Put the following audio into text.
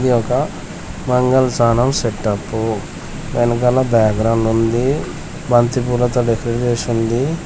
ఇది ఒక మంగళ స్నానం సెటప్పు వెనకన బ్యాగ్రౌండ్ ఉంది బంతి పూలతో డెకరేషన్ చేసుంది.